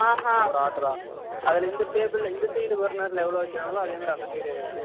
அது ஒரு ஒர்டெரா அதுல இந்த table la இந்த side பர்னெர் ல எவ்வலவு வைகிரங்கலொ அதே மாரி அந்த side la அதுலிஉம் வைபாங்க